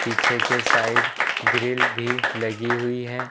पीछे के side grill भी लगी हुई है।